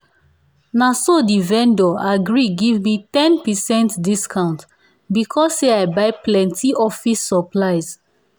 naso the vendor agree give me ten percent discount because say i buy plenty office supplies